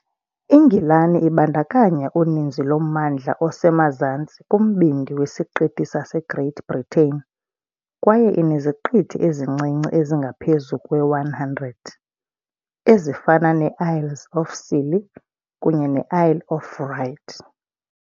INgilani ibandakanya uninzi lommandla osemazantsi kumbindi wesiqithi saseGreat Britain kwaye ineziqithi ezincinci ezingaphezu kwe-100, ezifana ne- Isles of Scilly kunye ne- Isle of Wight .